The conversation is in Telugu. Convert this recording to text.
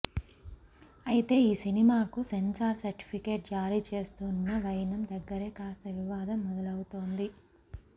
అయితే ఈ సినిమాకు సెన్సార్ సర్టిఫికెట్ జారీ చేస్తున్న వైనం దగ్గరే కాస్త వివాదం మొదలవుతోంది